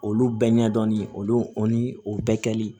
Olu bɛɛ ɲɛdɔn olu bɛɛ kɛli